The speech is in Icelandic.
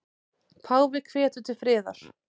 Páfi hvetur til friðar